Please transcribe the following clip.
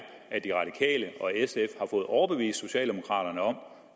at de radikale og sf har fået overbevist socialdemokraterne om